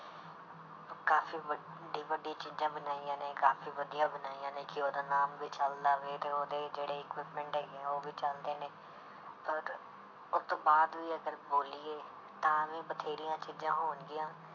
ਕਾਫ਼ੀ ਵੱਡੀ ਵੱਡੀ ਚੀਜ਼ਾਂ ਬਣਾਈਆਂ ਨੇ ਕਾਫ਼ੀ ਵਧੀਆ ਬਣਾਈਆਂ ਨੇ ਕਿ ਉਹਦਾ ਨਾਮ ਵੀ ਚੱਲਦਾ ਵੇ ਤੇ ਉਹਦੇ ਜਿਹੜੇ equipment ਹੈਗੇ ਆ ਉਹ ਵੀ ਚੱਲਦੇ ਨੇ ਪਰ ਉਹ ਤੋਂ ਬਾਅਦ ਵੀ ਅਗਰ ਬੋਲੀਏ ਤਾਂ ਵੀ ਬਥੇਰੀਆਂ ਚੀਜ਼ਾਂ ਹੋਣਗੀਆਂ,